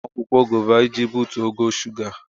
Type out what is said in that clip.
Atara m akwụkwọ gova iji butuo ogo shuga.